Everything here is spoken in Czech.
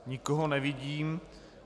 Nikoho nevidím.